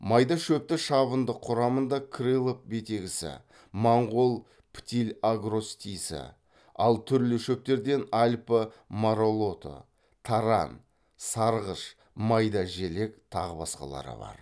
майда шөпті шабындық құрамында крылов бетегісі монғол птильагростисі ал түрлі шөптерден альпі маралоты таран сарғыш майдажелек тағы басқалары бар